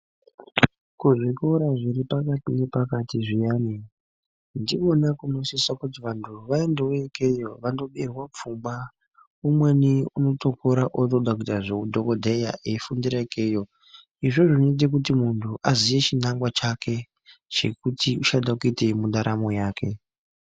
Kuzvikororazviri zviri pakati nepakati zviyani ndiko kunosisa kuti vantu vaende wo ikeyo vandobairwa pfungwa. Umweni unotokura otoda kuita zveudhokodheya eifundira ikeyo. Izvozvo zvinoita kuti muntu aziye chinangwa chake chekuti uchada kuitei nendaramo yake.